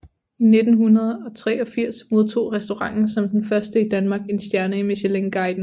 I 1983 modtog restauranten som den første i Danmark en stjerne i Michelinguiden